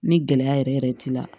Ni gɛlɛya yɛrɛ yɛrɛ t'i la